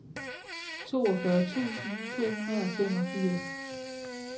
toogfyrre tusind to hundrede og femogfirs